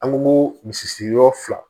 An ko misi sigiyɔrɔ fila